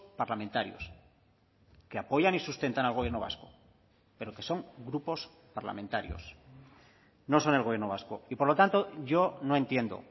parlamentarios que apoyan y sustentan al gobierno vasco pero que son grupos parlamentarios no son el gobierno vasco y por lo tanto yo no entiendo